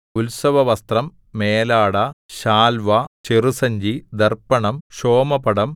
ഉത്സവവസ്ത്രം മേലാട ശാൽവാ ചെറുസഞ്ചി ദർപ്പണം ക്ഷോമപടം